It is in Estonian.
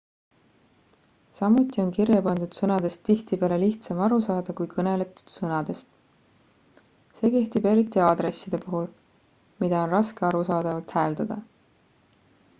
samuti on kirjapandud sõnadest tihtipeale lihtsam aru saada kui kõneldud sõnadest see kehtib eriti aadresside puhul mida on raske arusaadavalt hääldada